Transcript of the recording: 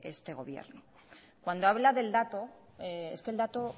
este gobierno cuando habla del dato es que el dato